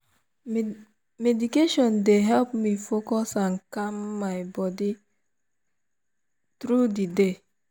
meditation dey help me focus and calm my body through the day.